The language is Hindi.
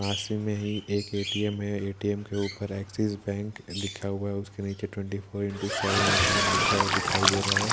पास में ही एक ए_टी_एम है ए_टी_एम के ऊपर एक्सेस बैंक लिखा हुआ और उसके नीचे twenty four into seven A T M लिखा हुआ दिखाई दे रहा है ।